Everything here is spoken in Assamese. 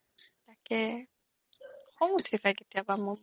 তাকেই খং উঠি যায় কেতিয়াবা মোৰ